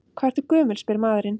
Hvað ertu gömul, spyr maðurinn.